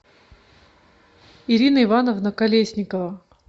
ирина ивановна колесникова